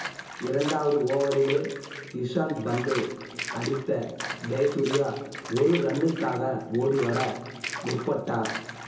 இரண்டாவது ஓவரிலே இஷாந்த் பந்தை அடித்த ஜெயசூர்யா ஒரு ரன்னுக்காக ஓடிவர முற்பட்டார்